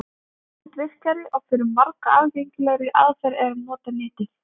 Fljótvirkari og fyrir marga aðgengilegri aðferð er að nota Netið.